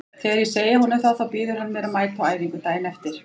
Þegar ég segi honum það þá býður hann mér að mæta á æfingu daginn eftir.